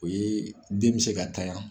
O ye den bɛ se ka tanyan.